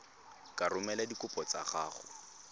ka romela dikopo tsa gago